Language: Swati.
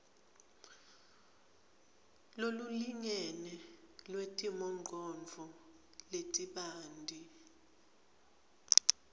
lolulingene lwetimongcondvo letibanti